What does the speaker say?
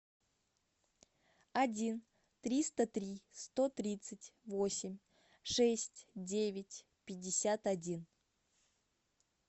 один триста три сто тридцать восемь шесть девять пятьдесят один